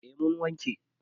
A mun wanke